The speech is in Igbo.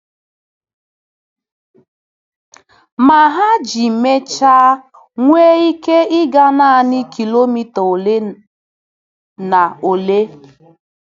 Ma ha ji meecha nwee ike ịga naanị kilomita ole na ole.